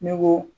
Ne ko